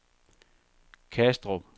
Kastrup